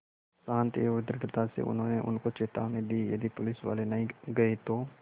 शान्ति और दृढ़ता से उन्होंने उनको चेतावनी दी यदि पुलिसवाले नहीं गए तो